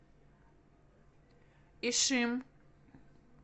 ишим